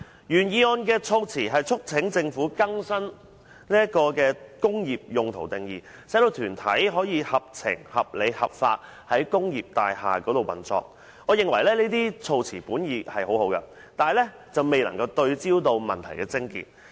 原議案促請政府"更新'工業大廈用途'的定義"，使團體"可合情、合理、合法於工業大廈運作"，我認為這些措辭本意良好，但未能對準問題癥結。